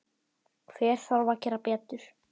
Hver þarf að gera betur?